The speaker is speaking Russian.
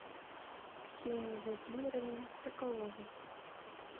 ксении владимировне соколовой